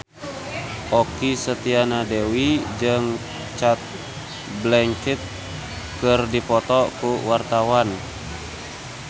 Okky Setiana Dewi jeung Cate Blanchett keur dipoto ku wartawan